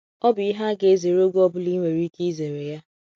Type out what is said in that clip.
Ọ bụ ihe a ga-azere oge ọ bụla i nwere ike izere ya.